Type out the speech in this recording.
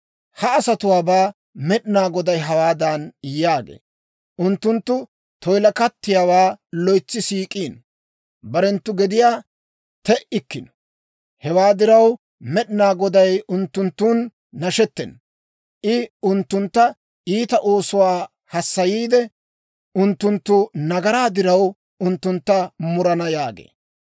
Ha asatuwaabaa Med'inaa Goday hawaadan yaagee; «Unttunttu toyilakattiyaawaa loytsi siik'iino; barenttu gediyaa te"ikkino. Hewaa diraw, Med'inaa Goday unttunttun nashettena. I unttuntta iita oosuwaa hassayiide, unttunttu nagaraa diraw, unttuntta murana» yaagee.